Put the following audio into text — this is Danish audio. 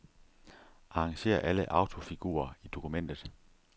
Arrangér alle autofigurer i dokumentet.